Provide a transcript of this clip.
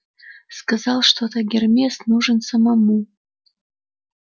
сказал что то гермес нужен ему самому